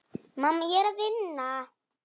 Mamma, ég er að vinna.